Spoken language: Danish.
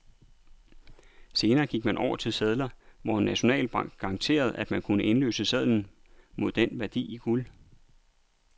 Senere gik man over til sedler, hvor en nationalbank garanterede, at man kunne indløse sedlen mod den værdi i guld.